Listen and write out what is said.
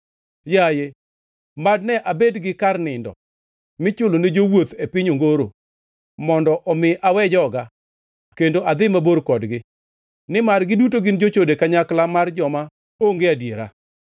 Yaye, mad ne abed gi kar nindo michulo ne jowuoth e piny ongoro, mondo omi awe joga kendo adhi mabor kodgi; nimar giduto gin jochode, kanyakla mar joma onge adiera.